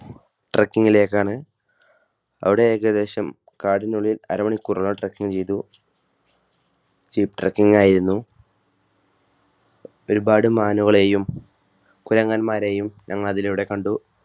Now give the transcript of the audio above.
truk ങ്ങിലെക്കാണ് അവിടെ ഏകദേശം കാടിനുള്ളിൽ അരമണിക്കൂറോളം truk ങ് ചെയ്തു. ചിത്രകിംഗ് യായിരുന്നു. ഒരുപാട് മാനുകളെയും കുരങ്ങന്മാരെയും ഞങ്ങൾ അതിലൂടെ കണ്ടു.